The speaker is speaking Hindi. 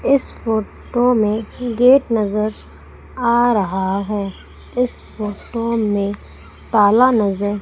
इस फोटो में गेट नजर आ रहा है इस फोटो में ताला नजर--